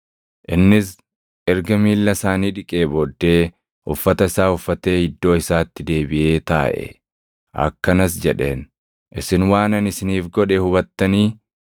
Innis erga miilla isaanii dhiqee booddee, uffata isaa uffatee iddoo isaatti deebiʼee taaʼe. Akkanas jedheen; “Isin waan ani isiniif godhe hubattanii?